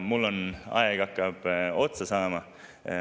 Mul hakkab aeg otsa saama.